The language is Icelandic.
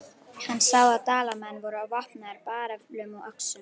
Hann sá að Dalamenn voru vopnaðir bareflum og öxum.